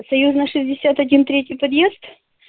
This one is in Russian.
союзная шестьдесят один третий подъезд